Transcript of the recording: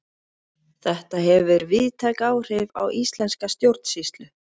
þetta hefur víðtæk áhrif á íslenska stjórnsýslu